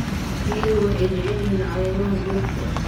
Riyadu waxay jecel yihiin caleemaha geedka.